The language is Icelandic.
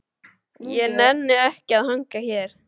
Ég nenni ekki að hanga hér.